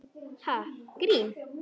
Ha, grín?